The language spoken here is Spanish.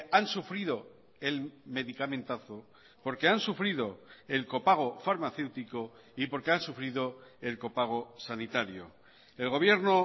han sufrido el medicamentazo porque han sufrido el copago farmacéutico y porque han sufrido el copago sanitario el gobierno